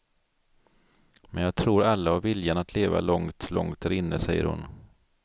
Men jag tror alla har viljan att leva långt, långt där inne, säger hon.